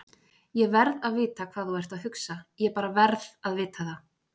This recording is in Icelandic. ÉG VERÐ AÐ VITA HVAÐ ÞÚ ERT AÐ HUGSA, ÉG VERÐ AÐ VITA ÞAÐ!